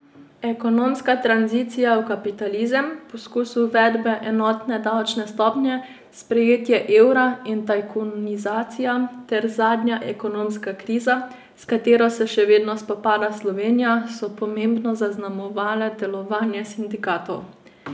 Ekonomska tranzicija v kapitalizem, poskus uvedbe enotne davčne stopnje, sprejetje evra in tajkunizacija ter zadnja ekonomska kriza, s katero se še vedno spopada Slovenija, so pomembno zaznamovale delovanje sindikatov.